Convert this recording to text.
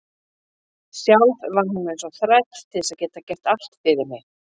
Sjálf vann hún eins og þræll til að geta gert allt fyrir mig.